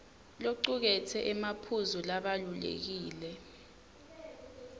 locuketse emaphuzu labalulekile